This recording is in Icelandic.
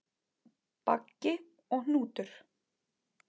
Baggi og Hnútur